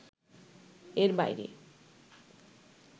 এর বাইরে